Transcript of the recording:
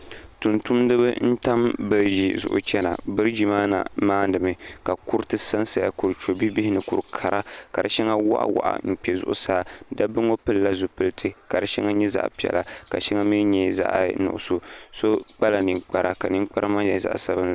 Tum tumdi ba n-tam biriji zuɣu n-chana biriji maa na maandi mi ka kuriti sa n-sa ya kur' chɔbi' bihi n-ŋɔ kur' kara ka di shɛŋa waɣa waɣa n-kpe zuɣusaa dabba ŋɔ pili la zupiliti ka di shɛŋa nyɛ zaɣ' piɛla ka shɛŋa mi nyɛ zaɣ' nuɣisɔ so kpala ninkpara ka ninkpara maa nyɛ zaɣ' sabinli.